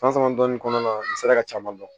Fɛn sama dɔni kɔnɔna na n sera ka caman dɔn